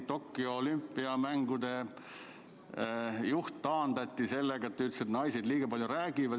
Tokyo olümpiamängude juht taandati sellepärast, et ta ütles, et naised liiga palju räägivad.